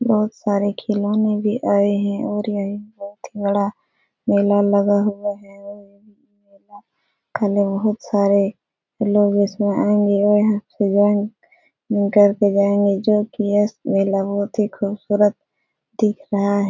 बहुत सारे खिलौने भी आए हैं और यहीं बहुत ही बड़ा मेला लगा हुआ है और बहुत सारे लोग इसमें आएंगे और घर पे जाएंगे जो कि यह मेला बहुत ही खूबसूरत दिख रहा है --